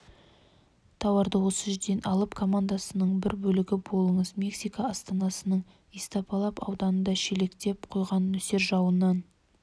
тауарды осы жерден алып комнадасының бір бөлігі болыңыз мексика астанасының истапалап ауданында шелектеп құйған нөсер жауыннан